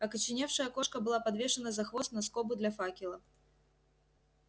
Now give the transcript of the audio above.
окоченевшая кошка была подвешена за хвост на скобу для факела